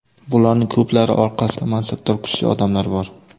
Bularning ko‘plari orqasida mansabdor kuchli odamlar bor.